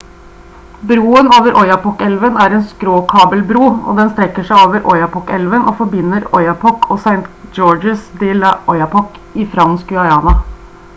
broen over oyapok-elven er en skråkabelbro den strekker seg over oyapok-elven og forbinder oyapock og saint-georges-de-l'oyapock i fransk guyana